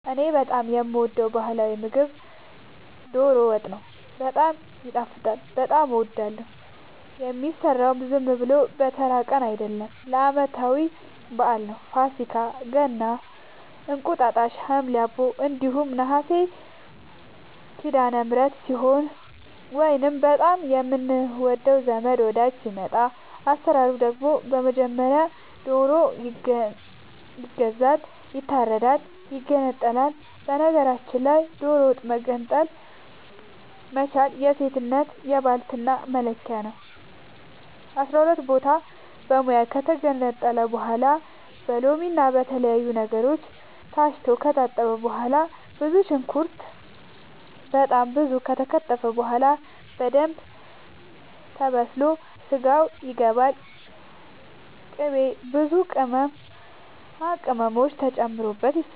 እኔ በጣም የምወደው በህላዊ ምግብ ዶሮ ወጥ ነው። በጣም ይጣፍጣል በጣም አወዳለሁ። የሚሰራውም ዝም ብሎ በተራ ቀን አይደለም ለአመታዊ በአል ነው። ፋሲካ ገና እንቁጣጣሽ ሀምሌ አቦ እንዲሁም ነሀሴ ሲዳለምህረት ሲሆን ወይንም በጣም የምንወደው ዘመድ ወዳጅ ሲመጣ። አሰራሩ ደግሞ በመጀመሪያ ዶሮ ይገዛል ይታረዳል ይገነጣጠላል በነገራችል ላይ ዶሮ መገንጠል መቻል የሴትነት የባልትና መለኪያ ነው። አስራሁለት ቦታ በሙያ ከተገነጣጠለ በኋላ በሎምና በተለያዩ ነገሮች ታስቶ ከታጠበ በኋላ ብዙ ሽንኩርት በጣም ብዙ ከተከተፈ በኋላ በደንብ ተበስሎ ስጋው ይገባል ቅቤ ብዙ ቅመማ ቅመም ተጨምሮ ይሰራል